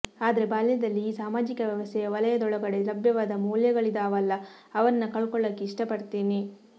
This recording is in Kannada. ಆದ್ರೆ ಬಾಲ್ಯದಲ್ಲಿ ಈ ಸಾಮಾಜಿಕ ವ್ಯವಸ್ಥೆಯ ವಲಯದೊಳಗಡೆ ಲಭ್ಯವಾದ ಮೌಲ್ಯಗಳಿದಾವಲ್ಲ ಅವನ್ನ ಕಳ್ಕೊಳಕ್ಕೆ ಇಷ್ಟಪಡ್ತೀನಿ